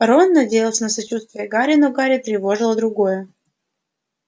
рон надеялся на сочувствие гарри но гарри тревожило другое